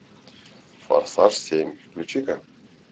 форсаж семь включи ка